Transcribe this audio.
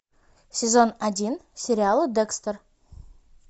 сезон один сериала декстер